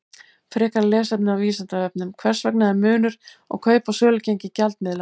Frekara lesefni á Vísindavefnum: Hvers vegna er munur á kaup- og sölugengi gjaldmiðla?